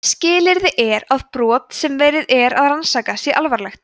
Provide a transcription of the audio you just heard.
skilyrði er að brot sem verið er að rannsaka sé alvarlegt